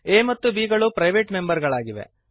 a ಮತ್ತು b ಗಳು private member ಗಳಾಗಿವೆ